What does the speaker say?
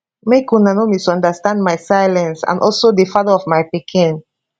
make una no misunderstand my silence and also di father of my pikin